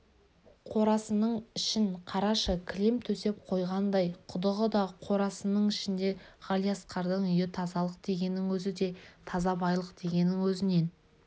қорасының ішін қарашы кілем төсеп қойғандай құдығы да қорасының ішінде ғалиасқардың үйі тазалық дегеннің өзінен де таза байлық дегеннің өзінен